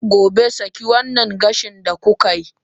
gobe, saki wannan gashin da kuka yi!